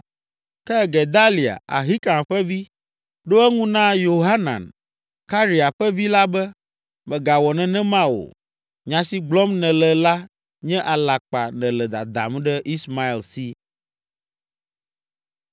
Ke Gedalia, Ahikam ƒe vi, ɖo eŋu na Yohanan, Karea ƒe vi la be, “Mègawɔ nenema o! Nya si gblɔm nèle la nye alakpa nèle dadam ɖe Ismael si.”